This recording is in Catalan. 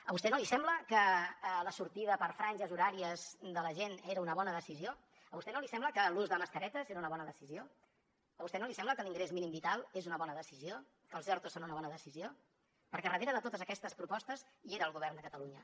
a vostè no li sembla que la sortida per franges horàries de la gent era una bona decisió a vostè no li sembla que l’ús de mascaretes era una bona decisió a vostè no li sembla que l’ingrés mínim vital és una bona decisió que els ertos són una bona decisió perquè darrere de totes aquestes propostes hi era el govern de catalunya